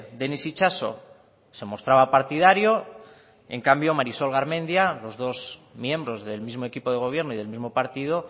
denis itxaso se mostraba partidario en cambio marisol garmendia los dos miembros del mismo equipo de gobierno y del mismo partido